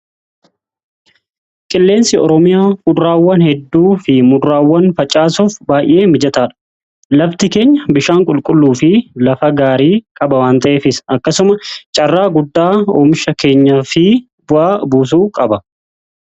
Qilleensi oromiya kuduraawwan hedduu fi muduraawwan faccaasuuf baay'ee mijataadha. Lafti keenya bishaan qulqulluu fi lafa gaarii qaba wan ta'efis akkasuma carraa guddaa oomisha keenya fi bu'a buusuu qaba.